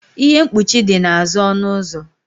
ihe mkpuchi dị n'azụ ọnụ ụzọ